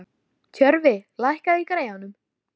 Tjörfi, lækkaðu í græjunum.